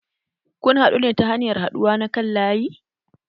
Kun haɗu ne ta hanyar haɗuwa na kan laƴi?